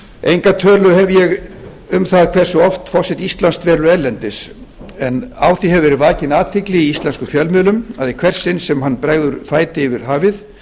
enga tölu hef ég um það hversu oft forseti íslands velur erlendis en á því hefur gerð vakin athygli í íslenskum fjölmiðlum að í hvert sinn sem hann bregður fæti yfir hafið